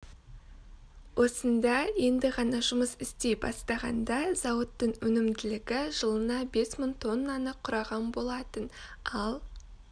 осында енді ғана жұмыс істей бастағанда зауыттың өнімділігі жылына бес мың тоннаны құраған болатын ал